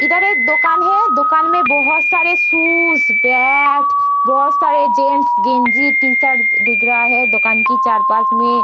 इधर एक दोकान है दोकान में बहुत सारे शूज बैट बाॅल बोहोत सारे जेन्स गेंजी टी-शर्ट दिख रहा है दोकान की चार पास में --